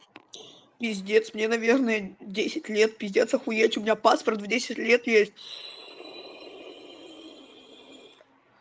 пиздец мне наверное десять лет пиздец охуеть у меня паспорт в десять лет есть